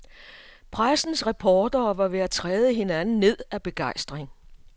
Pressens reportere var ved at træde hinanden ned af begejstring.